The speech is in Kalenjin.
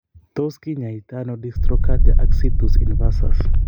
Tos kinyaatano dextrocardia ak situs inversus.